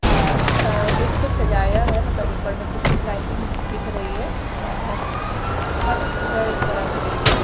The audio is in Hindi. और अ लेक को सजाया है मतलब ऊपर में कुछ कुछ लाइटिंग दिख रही है और बहुत ही सुन्दर एक बड़ा सा लेक है।